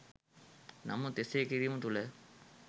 නමුත් එසේ කිරීම තුළ